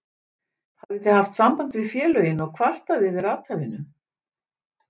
Hafið þið haft samband við félögin og kvartað yfir athæfinu?